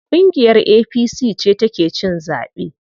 Ƙungiyar APC ce ta ke cin zaɓe.